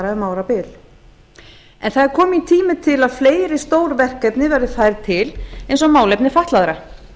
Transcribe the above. um árabil það er kominn tími til að fleiri stórverkefni verði færð til eins og málefni fatlaðra